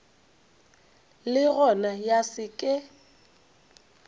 le gona ya se ke